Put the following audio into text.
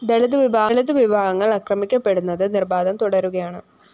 ദളിത് വിഭാഗങ്ങള്‍ ആക്രമിക്കപ്പെടുന്നത് നിര്‍ബാധം തുടരുകയാണ്